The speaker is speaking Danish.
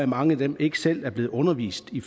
mange af dem ikke selv er blevet undervist i